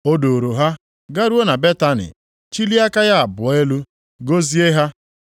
O duuru ha garuo na Betani, chilie aka ya abụọ elu gọzie ha.